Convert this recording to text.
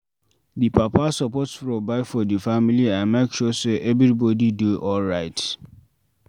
Di papa suppose provide for di family and make sure sey everybodi dey alright